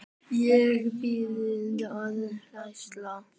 Ég bið að heilsa